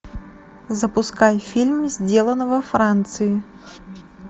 запускай фильм сделано во франции